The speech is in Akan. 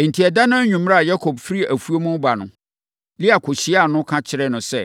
Enti, ɛda no anwummerɛ a Yakob firi afuom reba no, Lea kɔhyiaa no, ka kyerɛɛ no sɛ,